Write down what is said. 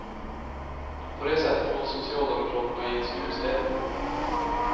På det sättet hålls socialdemokraterna i ett skruvstäd.